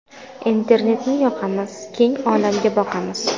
Internetni yoqamiz, Keng olamga boqamiz.